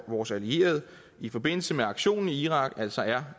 vores allierede i forbindelse med aktionen i irak altså er